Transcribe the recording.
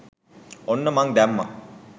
ඔන්න මන් දැම්මා